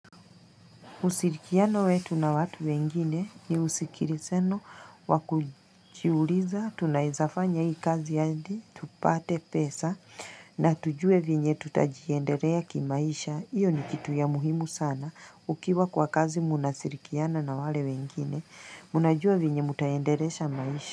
Ushirikiano wetu na watu wengine ni usikilizano wa kujiuliza, tunaeza fanya hii kazi hadi, tupate pesa na tujue venye tutajiendelea kimaisha, hiyo ni kitu ya muhimu sana, ukiwa kwa kazi mnashirikiana na wale wengine, mnajua venye mtaendelesha maisha.